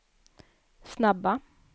snabba